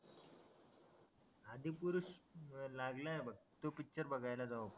आधिपुरुष लागलाय बघ तो पिक्चर बघायला जाऊ आपण